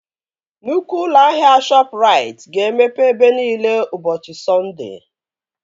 Nnukwu ụlọ ahịa Shọpụrait ga-emepe ebe nine ụbọchị Sọnde